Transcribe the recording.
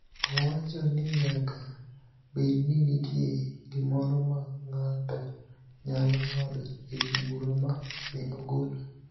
Owacho ni nyaka bed ni nitie gimoro ma ng�ato nyalo ng�ado e wi bura ma ne ogolo